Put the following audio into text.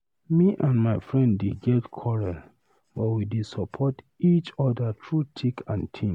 Me and my friend I dey get quarrel, but we dey support each other through thick and thin.